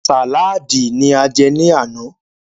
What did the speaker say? Sàlaadi ní a jẹ ní àná.